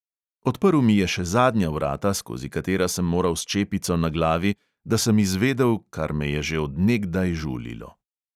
Odprl mi je še zadnja vrata, skozi katera sem moral s čepico na glavi, da sem izvedel, kar me je že od nekdaj žulilo.